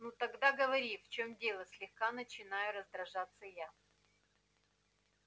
ну тогда говори в чём дело слегка начинаю раздражаться я